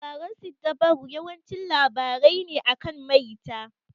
Labaran siddabaru yawanci labarai ne akan maita.